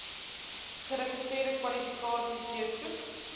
geregistreerde kwalifikasies deursoek